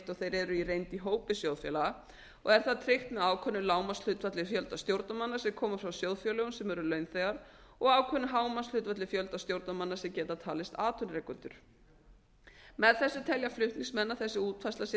og þeir eru í reynd í hópi sjóðfélaga og er það tryggt með ákveðnu lágmarkshlutfalli fjölda stjórnarmanna sem koma frá sjóðfélögum sem eru launþegar og ákveðnu hámarkshlutfalli fjölda stjórnarmanna sem geta talist atvinnurekendur með þessu telja flutningsmenn að þessi útfærsla sé